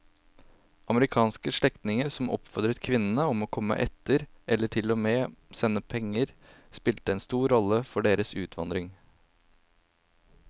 Amerikanske slektninger som oppfordret kvinnene om å komme etter eller til og med sendte penger spilte en stor rolle for deres utvandring.